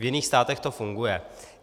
V jiných státech to funguje.